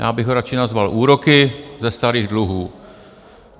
Já bych ho radši nazval úroky ze starých dluhů.